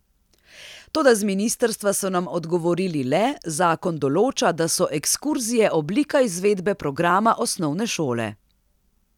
Toda z ministrstva so nam odgovorili le: 'Zakon določa, da so ekskurzije oblika izvedbe programa osnovne šole.